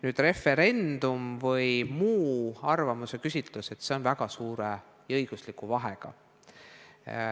Nüüd, kas teha referendum või muulaadne arvamuse küsimine – seal on väga suur õiguslik vahe.